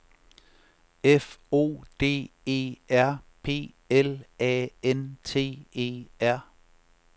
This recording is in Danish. F O D E R P L A N T E R